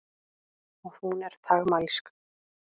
Og hún er þagmælsk.